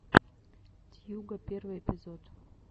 тьюга первый эпизод